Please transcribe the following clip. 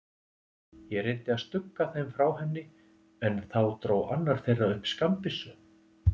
Ég reyndi að stugga þeim frá henni, en þá dró annar þeirra upp skammbyssu.